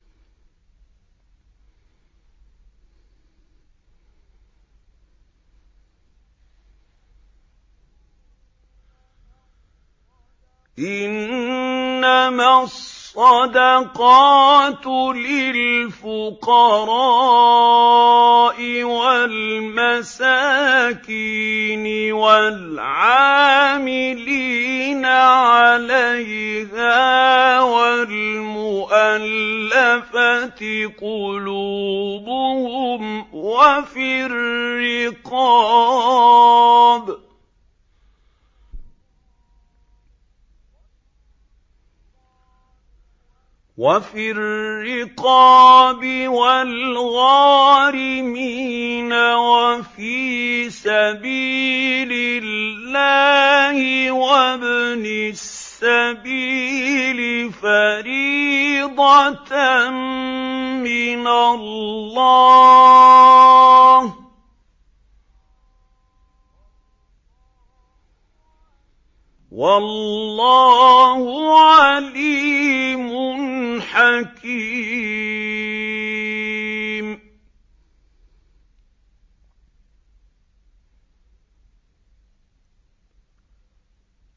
۞ إِنَّمَا الصَّدَقَاتُ لِلْفُقَرَاءِ وَالْمَسَاكِينِ وَالْعَامِلِينَ عَلَيْهَا وَالْمُؤَلَّفَةِ قُلُوبُهُمْ وَفِي الرِّقَابِ وَالْغَارِمِينَ وَفِي سَبِيلِ اللَّهِ وَابْنِ السَّبِيلِ ۖ فَرِيضَةً مِّنَ اللَّهِ ۗ وَاللَّهُ عَلِيمٌ حَكِيمٌ